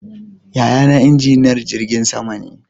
Yaya na injiniyan jirgin sama ne